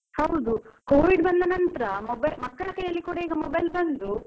ಹೌದು covid ಬಂದ ನಂತರ ಮಕ್ಳ ಕೈಯ್ಯಲ್ಲಿ ಈಗ mobile ಬಂದು.